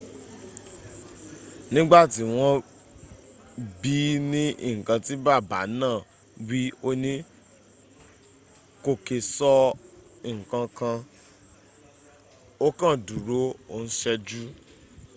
nígbàtí wọ́n bií ní nkan tí bàbá náà wí óní kò kè sọ nkankan ó kàn dúró o n ṣẹ́jú